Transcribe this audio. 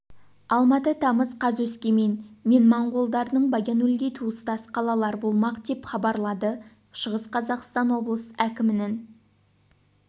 алматы тамыз қаз өскемен мен моңғолдардың баян-өлгей туыстас қалалар болмақ деп хабарлады шығыс қазақстан облыс әкімінің